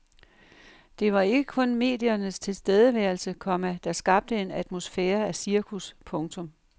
Det var ikke kun mediernes tilstedeværelse, komma der skabte en atmosfære af cirkus. punktum